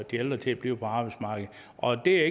de ældre til at blive på arbejdsmarkedet og det